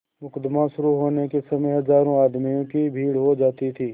मुकदमा शुरु होने के समय हजारों आदमियों की भीड़ हो जाती थी